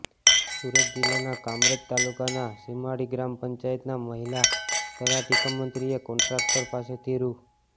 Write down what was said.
સુરત જિલ્લાના કામરેજ તાલુકાના સીમાડી ગ્રામ પંચાયતના મહિલા તલાટી કમ મંત્રીએ કોન્ટ્રાક્ટર પાસેથી રૂા